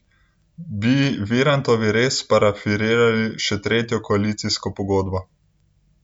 Bi Virantovi res parafirali še tretjo koalicijsko pogodbo?